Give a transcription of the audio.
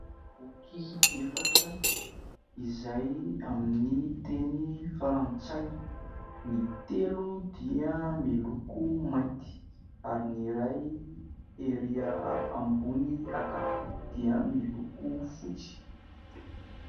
Boky efatra izay amin'ny teny frantsay: ny telo dia miloko mainty ary ny iray ery ambony ankavia dia miloko fotsy.